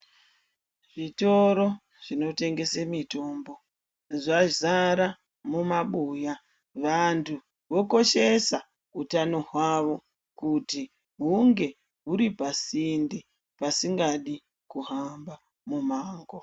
Zvitoro zvinotengese mitombo zvazara mumabuya. Vantu vokoshesa hutano hwawo kuti hunge huri pasinde pasingadi kuhamba mumango.